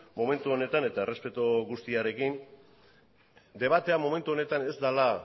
momentu honetan eta errespetu guztiarekin debatea momentu honetan ez dela